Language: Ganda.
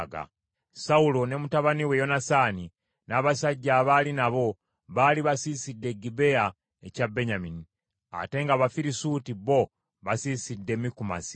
Sawulo ne mutabani we Yonasaani, n’abasajja abaali nabo baali basiisidde e Gebea ekya Benyamini, ate ng’Abafirisuuti bo basiisidde Mikumasi.